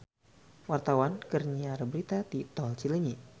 Wartawan keur nyiar berita di Tol Cileunyi